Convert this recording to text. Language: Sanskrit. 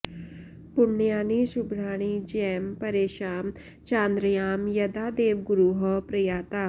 पुण्यानि शुभ्राणि जयं परेषां चान्द्र्यां यदा देवगुरोः प्रयाता